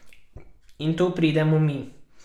In tu pridemo mi.